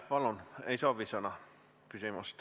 Mis selle 4,1 miljoniga siis plaanis teha ikkagi on?